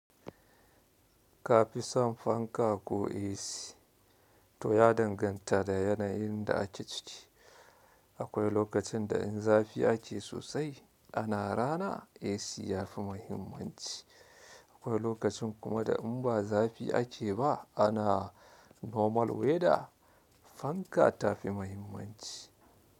Ka fi son fanka ko AC to ya danganta da yanayin da ake ciki. Akwai lokacin da in zafi ake sosai ana rana AC yafi mahimmanci. Akwai lokacin kuma da in ba zafi ake ba ana normal weather fanka ta fi mahimmanci.